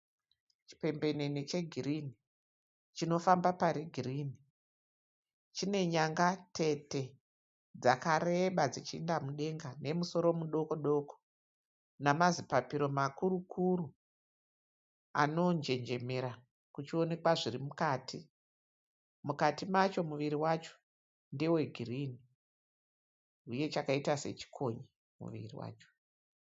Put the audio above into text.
Chipembenene chegirini chinofamba pari girini chine nyanga tete dzakareba dzichiinda mudenga nemusoro mudokodoko namazipapiro makurukuru anonjenjemera kuchionekwa zviri mukati, mukati macho muviri wacho ndewe girini huye chakaita sechikonye muviri wacho.